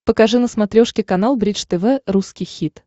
покажи на смотрешке канал бридж тв русский хит